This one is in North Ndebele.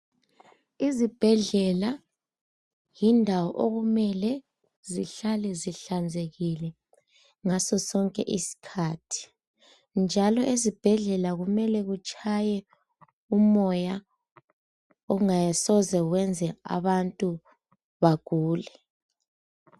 Izibhedlela yindawo okumele zihlale zihlanzekile ngasosonke isikhathi. Njalo ezibhedlela kumele kutshaye umoya okungasoze kwenze abantu bagule